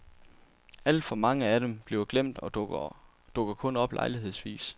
Alt for mange af dem bliver glemt og dukker kun op lejlighedsvis.